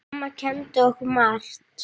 Amma kenndi okkur margt.